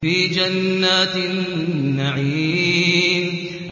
فِي جَنَّاتِ النَّعِيمِ